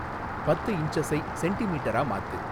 பத்து இன்ச்சஸை சென்டிமீட்டரா மாத்து